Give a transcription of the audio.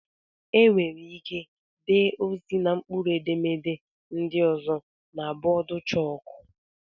Enwere ike dee ozi na mkpụrụedemede ndị ọzọ na bọọdụ chók